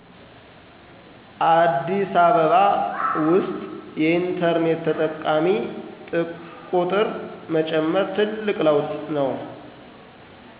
አዲስ አበባ ውስጥ የኢንተርኔት ተጠቃሚ ጥቁር መጨመር ትልቅ ለውጥ ነው።